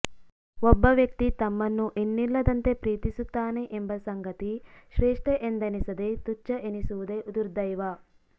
ಒಬ್ಬ ವ್ಯಕ್ತಿ ತಮ್ಮನ್ನು ಇನ್ನಿಲ್ಲದಂತೆ ಪ್ರೀತಿಸುತ್ತಾನೆ ಎಂಬ ಸಂಗತಿ ಶ್ರೇಷ್ಠ ಎಂದೆನಿಸದೆ ತುಚ್ಛ ಎನಿಸುವುದೇ ದುರ್ದೈವ